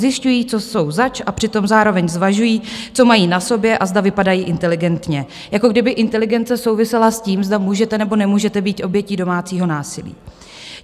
Zjišťují, co jsou zač, a přitom zároveň zvažují, co mají na sobě a zda vypadají inteligentně, jako kdyby inteligence souvisela s tím, zda můžete nebo nemůžete být obětí domácího násilí.